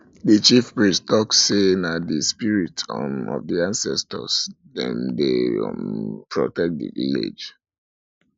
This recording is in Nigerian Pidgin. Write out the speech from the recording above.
di chiefpriest tok sey na di spirit um of di ancestor um dem dey um protect di village